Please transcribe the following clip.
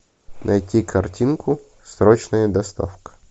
найти картинку срочная доставка